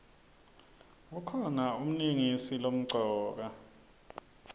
kukhona umlingisi lomcoka